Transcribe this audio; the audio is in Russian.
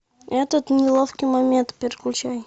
этот неловкий момент переключай